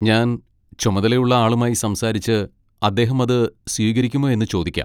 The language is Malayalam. ഞാൻ ചുമതലയുള്ള ആളുമായി സംസാരിച്ച് അദ്ദേഹം അത് സ്വീകരിക്കുമോ എന്ന് ചോദിക്കാം.